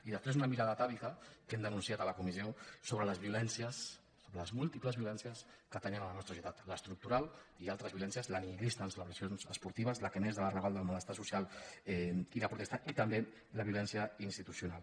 i després una mirada atàvica que hem denunciat a la comissió sobre les violències sobre les múltiples violències que atenyen la nostra societat l’estructural i altres violències la nihilista en celebracions esportives la que neix del malestar social i la protesta i també la violència institucional